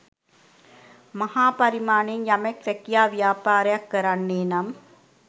මහා පරිමාණයෙන් යමෙක් රැකියා ව්‍යාපාරයක් කරන්නේ නම්